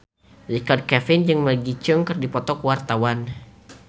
Richard Kevin jeung Maggie Cheung keur dipoto ku wartawan